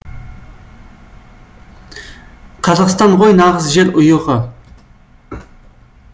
қазақстан ғой нағыз жер ұйығы